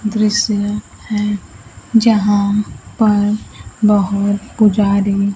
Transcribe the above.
दृश्य है जहां पर बहोत पुजारी--